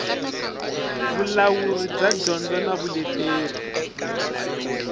vulawuri bya dyondzo na vuleteri